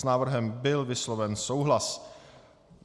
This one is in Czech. S návrhem byl vysloven souhlas.